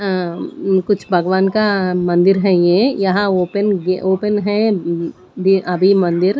अंम्म कुछ भगवान का मंदिर है ये यहां ओपन ओपन है अभी मंदिर--